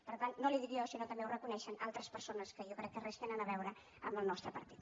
per tant no li ho dic jo sinó que també ho reconeixen altres persones que jo crec que res tenen a veure amb el nostre partit